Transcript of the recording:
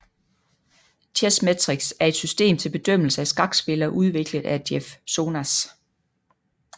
Chessmetrics er et system til bedømmelse af skakspillere udviklet af Jeff Sonas